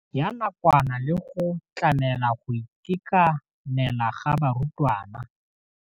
Ya nakwana le go tlamela go itekanela ga barutwana.